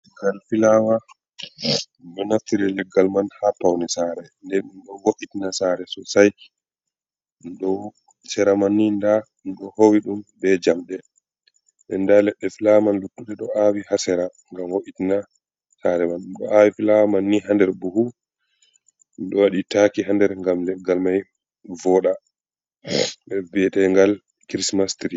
Gal fulaawa, ɗo naftiri leggal man haa pawne saare, ɓe ɗo wo''itina saare soosai do sera manni ɗo howi bee jaɓɓe ndaa leɗɗe fulawa man luttuɗe ɗo aawi haa sera ngam wo’itna saare man ɗo aawi fulaawa man ni haa nder buhu ɗo waɗi taaki haa nder ngam leggal mai wi'eteengal krismas tiri.